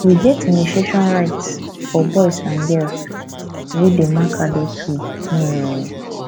we get initiation rites for boys and girls wey dey mark adulthood um